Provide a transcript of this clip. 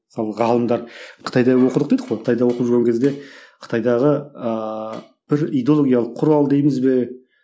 мысалы ғалымдар қытайда оқыдық дедік қой қытайда оқып жүрген кезде қытайдағы ыыы бір идеологиялық құрал дейміз бе